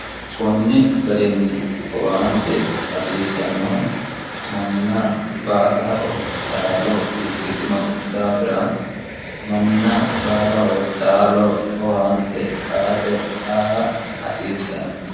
kunni garinni owaante hasiissannohu manna baalaho taalo ikkitino daafira manna baalaho taalo owaante aate aa hasiissanno